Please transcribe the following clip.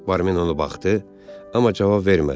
Barmin ona baxdı, amma cavab vermədi.